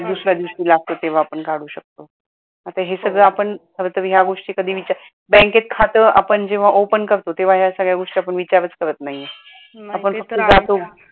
दुसऱ्या दिवशी लागतो तेव्हा आपण काढू शकतो आता हे सगळं आपण खर तर या गोष्टी कधी बँकेत खात आपण जेव्हा open करतो तेव्हा या सगळ्या गोष्टी आपण विचारच करत नाही आहे. आपण फक्त जातो